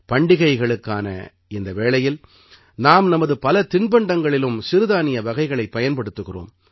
பண்டிகைகளுக்கான இந்த வேளையில் நாம் நமது பல தின்பண்டங்களிலும் சிறுதானிய வகைகளைப் பயன்படுத்துகிறோம்